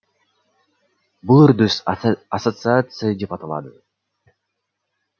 бұл үрдіс ассоциация деп аталады